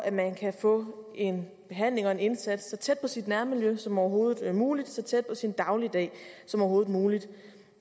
at man kan få en behandling og en indsats så tæt på sit nærmiljø som overhovedet muligt og så tæt på sin dagligdag som overhovedet muligt